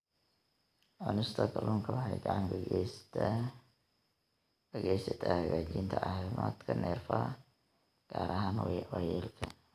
Cunista kalluunka waxay gacan ka geysataa hagaajinta caafimaadka neerfaha, gaar ahaan waayeelka.